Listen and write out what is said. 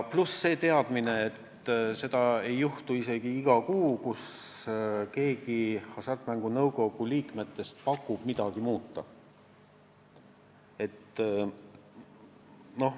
Pluss see teadmine, et sugugi mitte iga kuu ei paku keegi Hasartmängumaksu Nõukogu liikmetest midagi muuta.